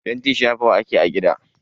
Fenti shafawa ake a gida.